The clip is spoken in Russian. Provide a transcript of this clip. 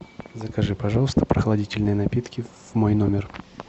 закажи пожалуйста прохладительные напитки в мой номер